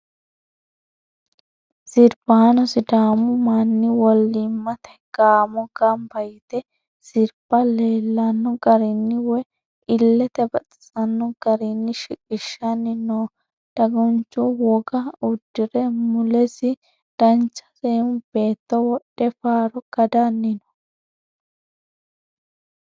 Sirbaano sidaamu manni wolliimmate gaamo Gamba yite sirba leellanno garinni woyi illete baxisanno garinni shiqishshanni no.dagunchu voga uddire mulesi dancha seemmo beetto wodhe faaro kadanni no.